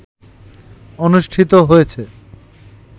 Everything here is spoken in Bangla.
অনুষ্ঠিত হয়েছে